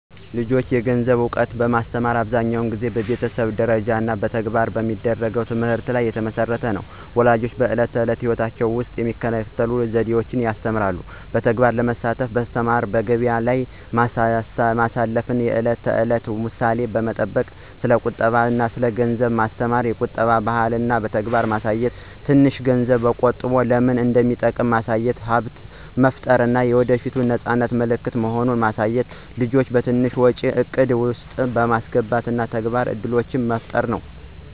ለልጆች የገንዘብ እውቀት ማስተማር አብዛኛውን ጊዜ በቤተሰብ ደረጃ እና በተግባር በሚደረግ ትምህርት ላይ የተመሠረተ ነው። ፣ ወላጆች በዕለት ተዕለት ሕይወት ውስጥ በሚከተሉት ዘዴዎች ያስተምራሉ። በተግባር በማሳተፍ ማስተማሩ፣ በገቢያ ላይ ማስተፍ፣ የዕለት ተዕለት ምሳሌዎች በመጠቅም ስለ ቁጠባ አና ስለ ገንዘብ ማስተማሩ፣ የቁጠባ ባህልን በተግባር ማሳየት፣ ትንሽ ገንዝብ ቆጠቦ ለምን እንደሚጠቅም ማሳየት፣ ሀብት መፍጠር የወደፏት የነፃነት ምልክት መሆኑን ማሳየት፣ ልጆችን በትንሽ ወጪ እቅድ ውስጥ በማስገባት እና የተግባር እድሎችን በመፍጠር ነው።